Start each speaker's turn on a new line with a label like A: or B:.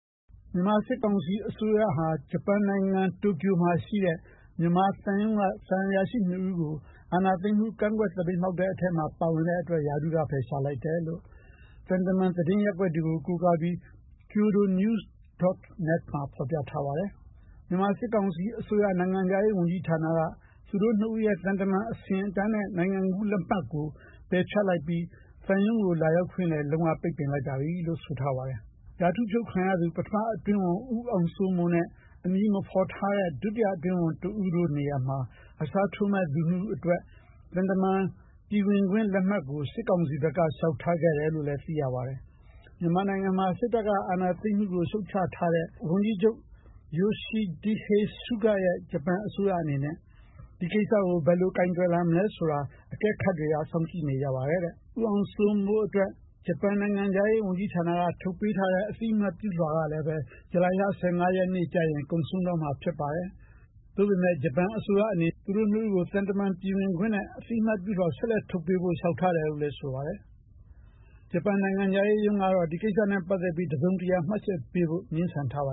A: မြန်မာစစ်ကောင်စီအစိုးရဟာ ဂျပန်နိုင်ငံ တိုကျိုမှာရှိတဲ့ မြန်မာသံရုံးက သံအရာရှိ ၂ ဦးကို အာဏာသိမ်းမှု ကန့်ကွက် သပိတ်မှောက်တဲ့အထဲမှာ ပါဝင်တဲ့အတွက် ရာထူးက ဖယ်ရှားလိုက်တယ်လို့ သံတမန် သတင်းရပ်ကွက်တွေကို ကိုးကားပြီး kyodo news. Net မှာ ဖော်ပြထားပါတယ်။ မြန်မာစစ်ကောင်စီအစိုးရ နိုင်ငံခြားရေးဝန်ကြီးဌာနက သူတို့ ၂ ဦးရဲ့ သံတမန် အဆင့်အတန်းနဲ့ နိုင်ငံကူးလက်မှတ်ကို ပယ်ဖျက်လိုက်ပြီး သံရုံးကို လာရောက်ခွင့်လည်း လုံး၀ ပိတ်ပင်လိုက်ပါပြီလို့ ဆိုထားပါတယ်။ ရာထူးဖြုတ်ခံထားရသူ ပထမအတွင်းဝန် ဦးအောင်စိုးမိုးနဲ့ အမည်မဖော်ထားတဲ့ ဒုတိယအတွင်းဝန် တဦးတို့နေရာမှာ အစားထိုးမယ့်သူ ၂ ဦးအတွက် သံတမန် ပြည်ဝင်ခွင့်လက်မှတ်ကို စစ်ကောင်စီဘက်က လျှောက်ထားခဲ့တယ်လို့ သိရပါတယ်။ မြန်မာနိုင်ငံမှာ စစ်တပ်က အာဏာသိမ်းမှုကို ရှုတ်ချထားတဲ့ ဝန်ကြီးချုပ် Yoshihide Suga ရဲ့ ဂျပန်အစိုးရ အနေနဲ့ ဒီကိစ္စကို ဘယ်လိုကိုယ်တွယ်လာမလဲဆိုတာ အကဲခတ်တွေက စောင့်ကြည့်နေကြပါတယ်။ ဦးအောင်စိုးမိုးအတွက် ဂျပန်နိုင်ငံခြားရေးဝန်ကြီးဌာနက ထုတ်ပေးထားတဲ့ အသိအမှတ်ပြုလွှာကလည်း ဇူလိုင်လ ၁၅ ရက်နေ့ကျရင် ကုန်ဆုံးတော့မှာပါ။ သို့ပေမယ့် ဂျပန်အစိုးရအနေနဲ့ သူတို့ ၂ ဦးကို သံတမန်ပြည်ဝင်ခွင့်နဲ့ အသိအမှတ်ပြုလွှာ ဆက်လက်ထုတ်ပေးဖို့ လျှောက်ထားတယ်လို့လည်း ဆိုပါတယ်။ ဂျပန်နိုင်ငံခြားရေးရုံးကတော့ ဒီကိစ္စနဲ့ ပတ်သက်ပြီး တစုံတရာ မှတ်ချက်ပေးဖို့ ငြင်းဆန်ထားပါ